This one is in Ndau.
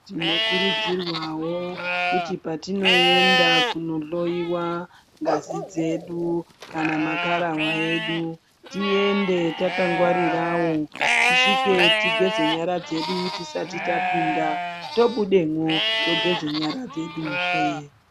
Tinokurudzirwawo kuti patinoenda kunohloyiwa ngazi dzedu kana makararwa edu tiende takangwarirawo tisvike tigeze nyara dzedu tisati tapinda, tobudemwo togeze nyara dzeduzve.